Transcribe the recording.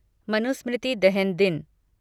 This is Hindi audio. मनुस्मृति दहन दिन